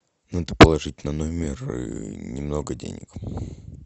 надо положить на номер немного денег